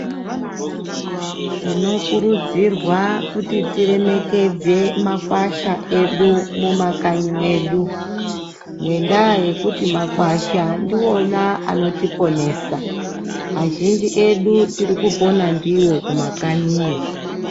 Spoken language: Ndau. Tinokurudzirwa kuti tiremekedze makwasha edu mumakanyi mwedu. Ngendaa yekuti makwasha ndivona anotoponesa, azhinji edu tirikupona ndivo kumakanyiyo.